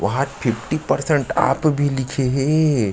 वहाँ fifty percent आप भी लिखे हे।